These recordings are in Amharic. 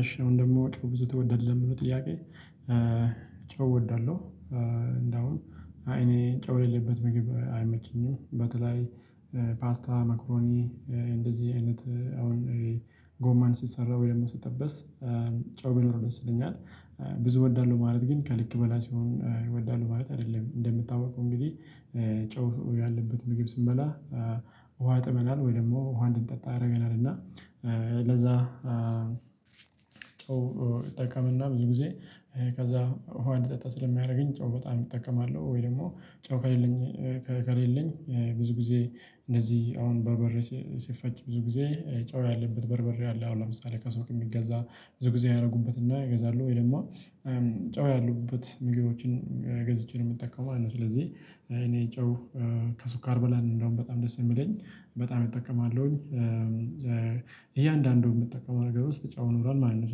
እሺ አሁን ደግሞ ጨው ብዙ ትወዳለህ ለምለው ጥያቄ? ጨው እወዳለሁ እንደውም እኔ ጨው የሌለበት ምግብ አይመቸኝም። በተለይ ፓስታ መክሮኒ እንደዚህ አይነት አሁን ጎማን ሲሰራ ወይ ደግሞ ስጠበስ ጨው ቢኖር ደስ ይለኛል። ብዙ እወዳለሁ ማለት ግን ከልክ በላይ ስሆን ወዳለው ማለት አይደለም። እንደምታውቀው እንግዲህ ጨው ያለበት ምግብ ስንበላ ውሃ ይጠማናል ወይም ደግሞ ውሃ እንድንጠጣ ያደርገናል እና። ለዛ ጨው እጠቀምና ብዙ ጊዜ ከዛ ውሃ እንድጠጣ ስለሚያደርገኝ ጨው በጣም እጠቀማለሁ። ወይ ደግሞ ጨው ከሌለኝ ከሌለኝ ብዙ ጊዜ እንደዚህ አሁን በርበሬ ሲፈጭ ብዙ ጊዜ ጨው ያለበት በርበሬ አለ። አሁን ለምሳሌ ከሱቅ የሚገዛ ብዙ ጊዜ ያደርጉበትና ይገዛሉ ወይ ደግሞ ጨው ያሉበት ምግቦችን ገዝቼ ነው የምጠቀመው ማለት ነው። ስለዚህ እኔ ጨው ከሱካር በላይ ነው እንደውም በጣም ደስ የሚለኝ በጣም እጠቀማለሁኝ። እያንዳንዱን የምጠቀመው ነገር ውስጥ ጨው ይኖራል ማለት ነው።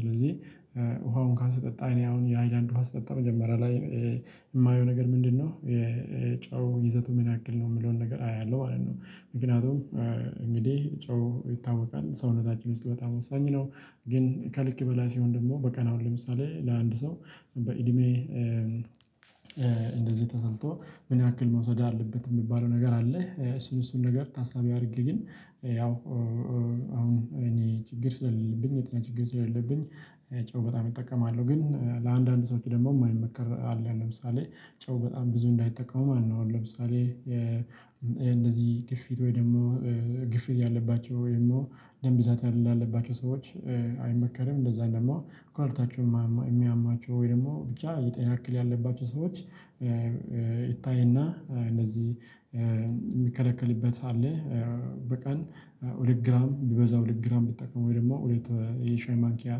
ስለዚህ ውሃ እንኳን ስጠጣ እኔ አሁን የሃይላንድ ውሃ ስጠጣ መጀመሪያ ላይ የማየው ነገር ምንድነው የጨው ይዘቱ ምን ያክል ነው የሚለውን ነገር አያለሁ ማለት ነው። ምክንያቱም እንግዲህ ጨው ይታወቃል ሰውነታችን ውስጥ በጣም ወሳኝ ነው። ግን ከልክ በላይ ሲሆን ደግሞ በቀን አሁን ለምሳሌ ለአንድ ሰው በእድሜ እንደዚህ ተሰልቶ ምን ያክል መውሰድ አለበት የሚባለው ነገር አለ። እሱን እሱን ነገር ታሳቢ አድርጌ ግን ያው አሁን እኔ ችግር ስለሌለብኝ የጤና ችግር ስለሌለብኝ። ጨው በጣም እጠቀማለሁ ግን ለአንዳንድ ሰዎች ደግሞ የማይመከር አለ ለምሳሌ ጨው በጣም ብዙ እንዳይጠቀሙ ማለት ነው። አሁን ለምሳሌ የእንደዚህ ግፊት ወይ ደግሞ ግፊት ያለባቸው ወይም ደም ብዛት ላለባቸው ሰዎች አይመከርም። እንደዛውም ደግሞ ኩላሊታቸውን የሚያማቸው ወይ ደግሞ ብቻ የጤና እክል ያለባቸው ሰዎች ይታይና እነዚህ የሚከለክልበት አለ። በቀን ሁለት ግራም ቢበዛ ሁለት ግራም ቢጠቀም ወይ ደግሞ ሁለት የሻይ ማንኪያ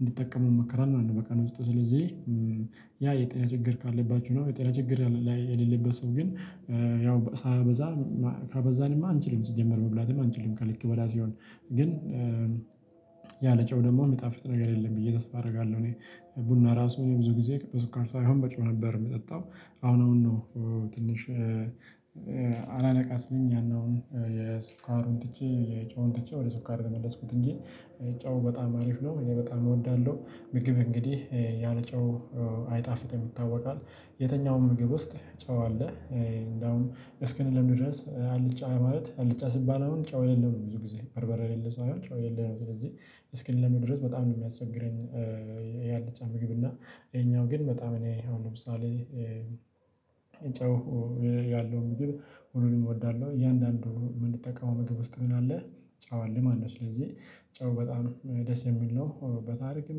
እንዲጠቀሙ ይመከራል ማለት ነው። በቀን ውስጥ ስለዚህ ያ የጤና ችግር ካለባችሁ ነው። የጤና ችግር ላይ የሌለበት ሰው ግን ያው ሳያበዛ ካበዛንማ አንችልም ሲጀመር መብላትም አንችልም ከልክ በላይ ሲሆን። ግን ያለ ጨው ደግሞ ሚጣፍጥ ነገር የለም ብዬ ተስፋ አደርጋለሁ። እኔ ቡና ራሱ እኔ ብዙ ጊዜ በስኳር ሳይሆን በጨው ነበር የምጠጣው። አሁን አሁን ነው። ትንሽ ያንን የሱካሩን ትቼ የጨውን ትቼ ወደ ሱካር የመለስኩት እንጂ። ጨው በጣም አሪፍ ነው እኔ በጣም እወዳለሁ። ምግብ እንግዲህ ያለ ጨው አይጣፍጥም ይታወቃል። የትኛውም ምግብ ውስጥ ጨዋ አለ እንደውም እስክንለምድ ድረስ አልጫ ማለት አልጫ ሲባል አሁን ጨው የሌለው ነው ብዙ ጊዜ በርበሬ የሌለው ሳይሆን ጨው የሌለው ነው። ስለዚህ እስክንለምድ ድረስ በጣም ነው የሚያስቸግረኝ። የአልጫ ምግብ እና ይሄኛው ግን በጣም እኔ አሁን ለምሳሌ ጨው ያለውን ምግብ ሁሉንም እወዳለሁ። እያንዳንዱ የምንጠቀመው ምግብ ውስጥ ምን አለ አዎ አለ ማለት ነው። ስለዚህ ጨው በጣም ደስ የሚል ነው በታሪክም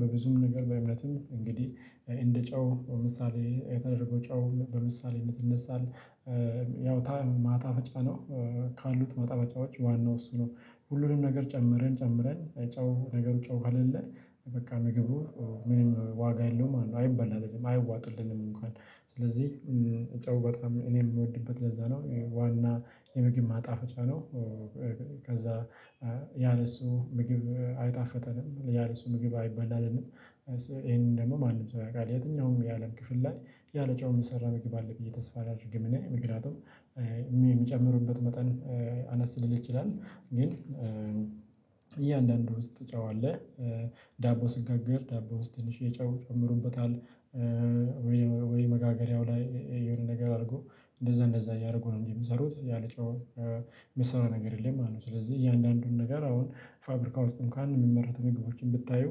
በብዙም ነገር በእምነትም እንግዲህ እንደ ጨው ምሳሌ የተደረገ ጨው በምሳሌነት ይነሳል። ያው ማጣፈጫ ነው ካሉት ማጣፈጫዎች ዋናው እሱ ነው። ሁሉንም ነገር ጨምረን ጨምረን ጨው ነገሩ ጨው ከሌለ በቃ ምግቡ ምንም ዋጋ የለውም አይበላልንም አይዋጥልንም። እንኳን ስለዚህ እጨው በጣም እኔ የምወድበት ለዛ ነው ዋና የምግብ ማጣፈጫ ነው። ከዛ ያለሱ ምግብ አይጣፍጠንም ያለሱ ምግብ አይበላልንም። ይሄንን ደግሞ ማንም ሰው ያውቃል የትኛውም የአለም ክፍል ላይ ያለ ጨው ሚሰራ ምግብ አለ ብዬ ተስፋ አላደርግም። እኔ ምክንያቱም የሚጨምሩበት መጠን አነስ ሊል ይችላል ግን እያንዳንዱ ውስጥ ጨው አለ። ዳቦ ስንጋግር ዳቦ ውስጥ ትንሽዬ ጨው ይጨምሩበታል። ወይ መጋገሪያው ላይ የሆነ ነገር አድርጎ እንደዛ እንደዛ እያደረጉ ነው የሚሰሩት ያለጨው የሚሰራ ነገር የለም ማለት ነው። ስለዚህ እያንዳንዱን ነገር አሁን ፋብሪካ ውስጥም እንኳን የሚመረቱ ምግቦችን ብታዩ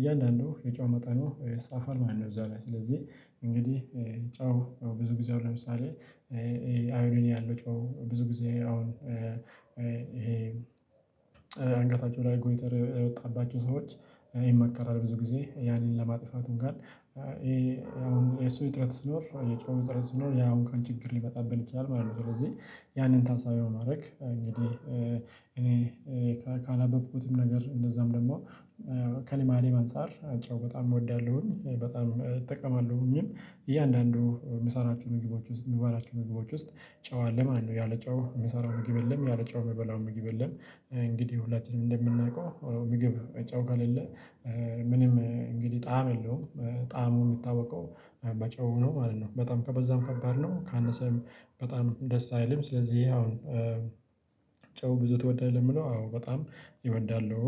እያንዳንዱ የጨው መጠኑ ይጻፋል ማለት ነው። እዛ ላይ ስለዚህ እንግዲህ ጨው ብዙ ጊዜ አሁን ለምሳሌ አይረን ያለው ጨው ብዙ ጊዜ አሁን ይሄ አንገታችሁ ላይ ጎይተር የወጣባቸው ሰዎች ይመከራል ብዙ ጊዜ ያንን ለማጥፋት እንኳን ይሄ አሁን የሱ እጥረት ሲኖር የጨውም እጥረት ሲኖር ያ እንኳን ችግር ሊመጣብን ይችላል ማለት ነው። ስለዚህ ያንን ታሳቢ በማድረግ እንግዲህ እኔ ካነበብኩትም ነገር እንደዛውም ደግሞ ከልማዴም አንፃር ጨው በጣም እወዳለሁኝ በጣም እጠቀማለሁኝም። እያንዳንዱ የምሰራቸው ምግቦች ውስጥ የምባላቸው ምግቦች ውስጥ ጨው አለ ማለት ነው። ያለጨው የምሰራው ምግብ የለም ያለጨው የምበላው ምግብ የለም። እንግዲህ ሁላችንም እንደምናውቀው ምግብ ጨው ከሌለ ምንም እንግዲህ ጣዕም የለውም። ጣዕሙ የሚታውቀው በጨው ነው ማለት ነው። በጣም ከበዛም ከባድ ነው ካነሰም በጣም ደስ አይልም። ስለዚህ አሁን ጨው ብዙ ትወዳለህ ለሚለው አዎ በጣም እወዳለሁ